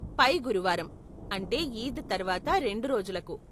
పై గురువారం, అంటే ఈద్ తర్వాత రెండు రోజులకు.